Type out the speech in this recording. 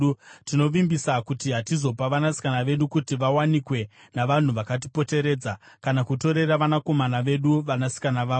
“Tinovimbisa kuti hatizopa vanasikana vedu kuti vawanikwe navanhu vakatipoteredza kana kutorera vanakomana vedu vanasikana vavo.